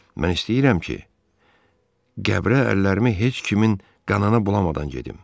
Mən istəyirəm ki, qəbrə əllərimi heç kimin qanına bulamadan gedim.